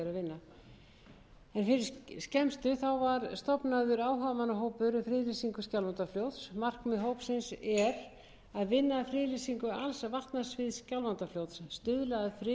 um friðlýsingu skjálfandafljóts markmið hópsins er að vinna að friðlýsingu alls vatnasviðs skjálfandafljóts stuðla að friðun og varðveislu landslags þess